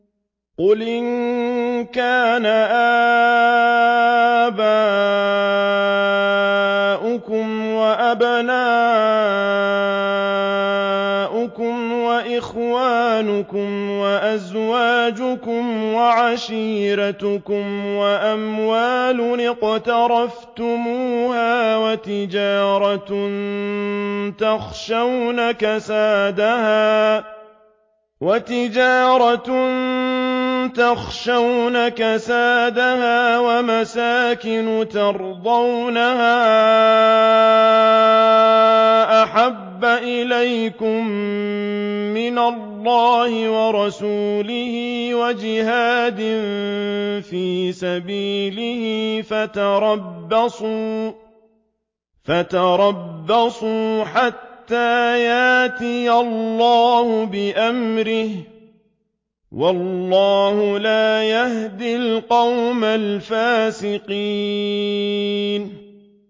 قُلْ إِن كَانَ آبَاؤُكُمْ وَأَبْنَاؤُكُمْ وَإِخْوَانُكُمْ وَأَزْوَاجُكُمْ وَعَشِيرَتُكُمْ وَأَمْوَالٌ اقْتَرَفْتُمُوهَا وَتِجَارَةٌ تَخْشَوْنَ كَسَادَهَا وَمَسَاكِنُ تَرْضَوْنَهَا أَحَبَّ إِلَيْكُم مِّنَ اللَّهِ وَرَسُولِهِ وَجِهَادٍ فِي سَبِيلِهِ فَتَرَبَّصُوا حَتَّىٰ يَأْتِيَ اللَّهُ بِأَمْرِهِ ۗ وَاللَّهُ لَا يَهْدِي الْقَوْمَ الْفَاسِقِينَ